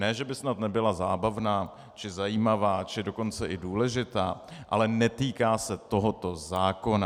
Ne že by snad nebyla zábavná či zajímavá, či dokonce i důležitá, ale netýká se tohoto zákona.